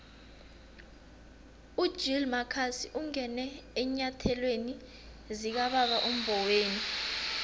ugill marcus ungene eenyathelweni zikababa umboweni